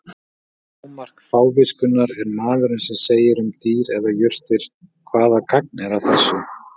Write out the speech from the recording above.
Hámark fáviskunnar er maðurinn sem segir um dýr eða jurtir: Hvaða gagn er að þessu?